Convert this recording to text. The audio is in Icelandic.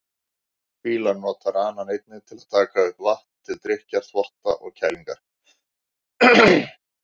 Fílar nota ranann einnig til að taka upp vatn, til drykkjar, þvotta og kælingar.